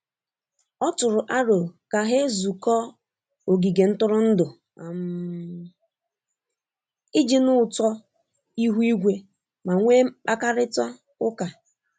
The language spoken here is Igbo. Ọ tụrụ aro ka ha-ezukọ ogige ntụrụndụ um ,iji nụ ụtọ ihu igwe ma nwe mkpakarita uka.